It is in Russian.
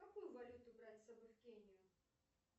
какую валюту брать с собой в кению